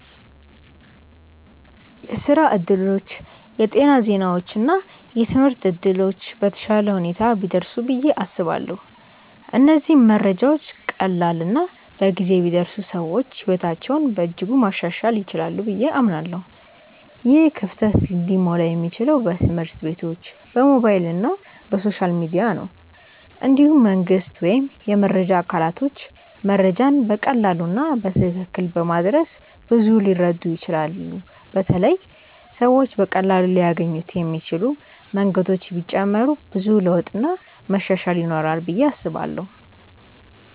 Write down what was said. የስራ እድሎች፣ የጤና ዜናዎች እና የትምህርት እድሎች በተሻለ ሁኔታ ቢደርሱ ብዬ አስባለሁ። እነዚህ መረጃዎች ቀላል እና በጊዜ ቢደርሱ ሰዎች ሕይወታቸውን በእጅጉ ማሻሻል ይችላሉ ብዬ አምናለሁ። ይህ ክፍተት ሊሞላ የሚችለው በትምህርት ቤቶች፣ በሞባይል እና በሶሻል ሚዲያ ነው። እንዲሁም መንግስት ወይም የመረጃ አካላቶች መረጃን በቀላሉ እና በትክክል በማድረስ ብዙ ሊረዱ ይችላሉ በተለይ ሰዎች በቀላሉ ሊያገኙት የሚችሉ መንገዶች ቢጨመሩ ብዙ ለውጥ እና መሻሻል ይኖራል ብዬ አስባለው።